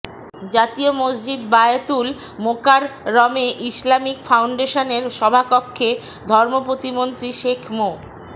জাতীয় মসজিদ বায়তুল মোকাররমে ইসলামিক ফাউন্ডেশনের সভাকক্ষে ধর্মপ্রতিমন্ত্রী শেখ মো